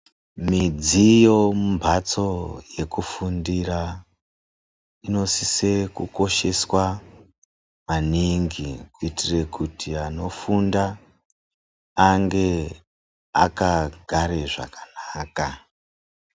Midziyo mumhatso dzekufundira inosise kukosheswa maningi, kuitire kuti anofunda ange akagare zvakanaka.